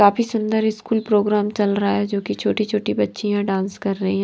काफी सुंदर school programme चल रहा है जो कि छोटी-छोटी बच्चियां डांस कर रही ।